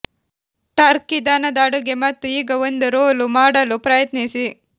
Turkey ದನದ ಅಡುಗೆ ಮತ್ತು ಈಗ ಒಂದು ರೋಲ್ ಮಾಡಲು ಪ್ರಯತ್ನಿಸಿ